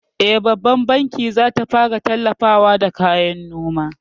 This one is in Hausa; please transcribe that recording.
E, Babban banki zata fara tallafawa da kayan noman